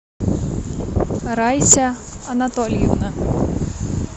раиса анатольевна